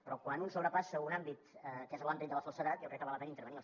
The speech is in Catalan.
però quan un sobrepassa un àmbit que és l’àmbit de la falsedat jo crec que val la pena intervenir